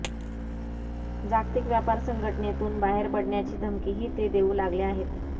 जागतिक व्यापार संघटनेतून बाहेर पडण्याची धमकीही ते देऊ लागले आहेत